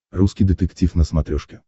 русский детектив на смотрешке